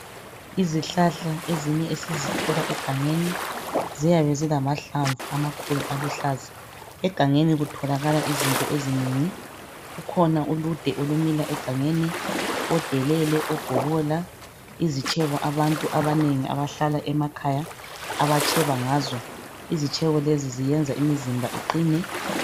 Izihlahla ezinye esizithola egangeni ziyabe zilamahlamvu amakhulu aluhlaza egangeni kutholakala izinto ezinengi kukhona ulude olumila egangeni odelele obhobola izitshebo abantu abanengi abahlala emakhaya abatsheba ngazo izitshebo lezi ziyenza imizimba iqine.